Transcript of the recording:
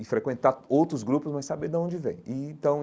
e frequentar outros grupos, mas saber da onde vem e então.